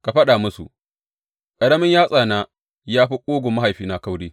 Ka faɗa musu, Ƙaramin yatsana ya fi ƙugun mahaifina kauri.